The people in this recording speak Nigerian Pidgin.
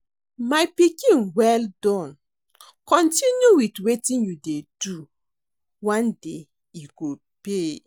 My pikin well done. Continue with wetin you dey do, one day e go pay